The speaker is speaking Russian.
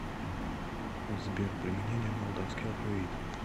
сбер применение молдавский алфавит